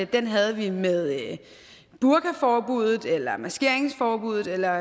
den havde vi med burkaforbuddet eller maskeringsforbuddet eller